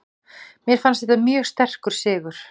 Mér fannst þetta mjög sterkur sigur.